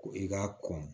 Ko i k'a kɔn